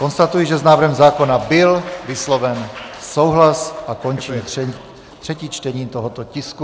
Konstatuji, že s návrhem zákona byl vysloven souhlas, a končím třetí čtení tohoto tisku.